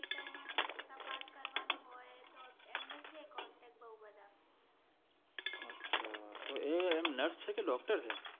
અચ્છા તો એ એમ nurse છે કે doctor છે